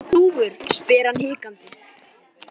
Eruð þið búnir að fá dúfur? spyr hann hikandi.